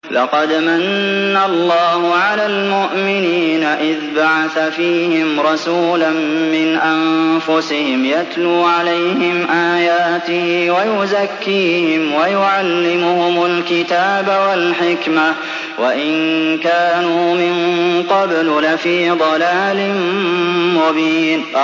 لَقَدْ مَنَّ اللَّهُ عَلَى الْمُؤْمِنِينَ إِذْ بَعَثَ فِيهِمْ رَسُولًا مِّنْ أَنفُسِهِمْ يَتْلُو عَلَيْهِمْ آيَاتِهِ وَيُزَكِّيهِمْ وَيُعَلِّمُهُمُ الْكِتَابَ وَالْحِكْمَةَ وَإِن كَانُوا مِن قَبْلُ لَفِي ضَلَالٍ مُّبِينٍ